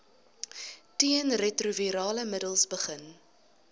teenretrovirale middels begin